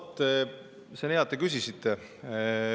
No vot, see on hea, et te küsisite.